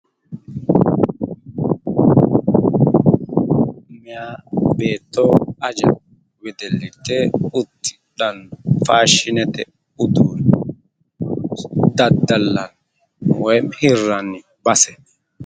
Meyaa beetto aja wedellitte uddidhanno faashinete uduunne daddallanni woyimi hirranni base